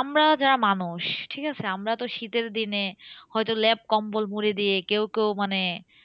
আমরা যারা মানুষ, ঠিকাছে? আমরা তো শীতের দিনে হয়তো লেপকম্বল মুড়ি দিয়ে কেউ কেউ মানে